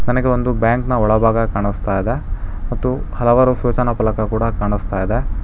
ನನಗೆ ಒಂದು ಬ್ಯಾಂಕ್ನ ಒಳಭಾಗ ಕಾಣಿಸ್ತಾ ಇದೆ ಮತ್ತು ಹಲವಾರು ಸೂಚನಾ ಫಲಕ ಕೂಡ ಕಾಣಿಸ್ತಾ ಇದೆ.